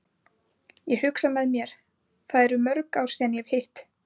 Ég hugsa með mér, það eru mörg ár síðan ég hef hitt